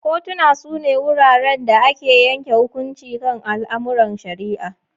Kotuna su ne wuraren da ake yanke hukunci kan al'amuran shari'a.